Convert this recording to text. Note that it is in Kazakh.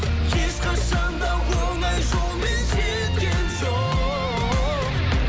ешқашан да оңай жолмен жеткен жоқ